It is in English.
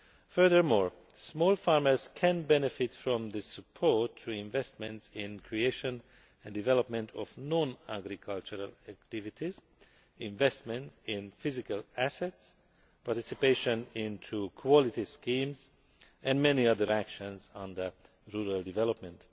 Furthermore, small farmers can benefit from the support for investment in the creation and development of non agricultural activities, investment in physical assets, participation in quality schemes, and many other actions under rural development.